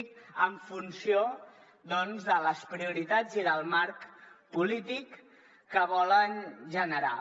en funció doncs de les prioritats i del marc polític que volen generar